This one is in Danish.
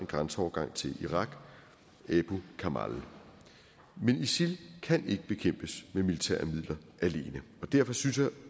grænseovergang til irak abu kamal men isil kan ikke bekæmpes med militære midler alene og derfor synes jeg